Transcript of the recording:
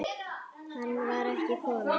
Hann var ekki kominn.